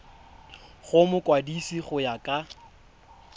go mokwadise go ya ka